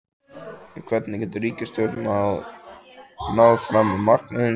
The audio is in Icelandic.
En hvernig getur ríkisstjórnin náð fram markmiðum sínum?